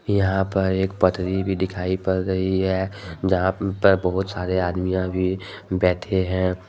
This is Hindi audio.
यहां पर एक पटरी भी दिखाई पड़ रही है जहां पर बहुत सारे आदमीया भी बैठे हैं।